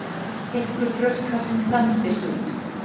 Þykkur brjóstkassinn þandist út.